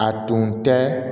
A tun tɛ